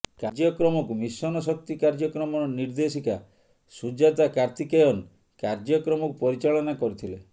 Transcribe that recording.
କାର୍ଯ୍ୟକ୍ରମକୁ ମିଶନଶକ୍ତି କାର୍ଯ୍ୟକ୍ରମର ନିର୍ଦ୍ଦେଶିକା ସୁଜାତା କାର୍ତ୍ତିକେୟନ୍ କାର୍ଯ୍ୟକ୍ରମକୁ ପରିଚାଳନା କରିଥିଲେ